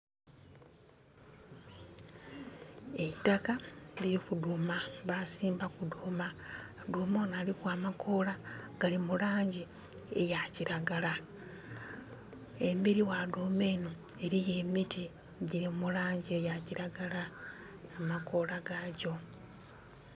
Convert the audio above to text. Eitaka liliku dhuuma, basimbaku dhuuma. Dhuuma onho aliku amakoola gali mu langi eya kiragala. Embeli gha dhuuma enho eliyo emiti gyili mu langi eya kiragala, ku makoola gakyo.